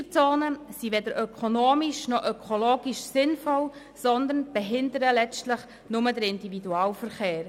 Tempo-30-Zonen sind weder ökonomisch noch ökologisch sinnvoll, sondern behindern letztlich nur den Individualverkehr.